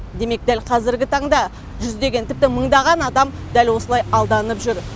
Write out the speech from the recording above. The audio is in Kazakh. демек дәл қазіргі таңда жүздеген тіпті мыңдаған адам дәл осылай алданып жүр